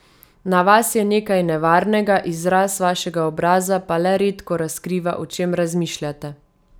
Na vas je nekaj nevarnega, izraz vašega obraza pa le redko razkriva, o čem razmišljate.